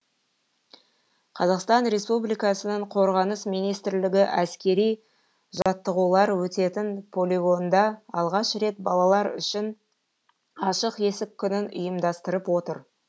қазақстан республикасының қорғаныс министрлігі әскери жаттығулар өтетін полигонда алғаш рет балалар үшін ашық есік күнін ұйымдастырып отыр